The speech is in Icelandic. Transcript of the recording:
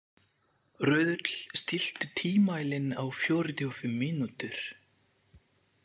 Röðull, stilltu tímamælinn á fjörutíu og fimm mínútur.